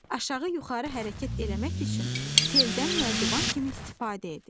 Aşağı-yuxarı hərəkət eləmək üçün teldən nərdivan kimi istifadə edir.